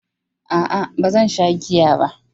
A'a, ba zan sha giya ba.